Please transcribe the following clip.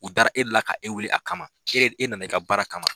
U dara e de la ka e wele a kama , k'e nana i ka baara kama .